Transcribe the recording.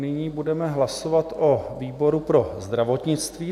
Nyní budeme hlasovat o výboru pro zdravotnictví.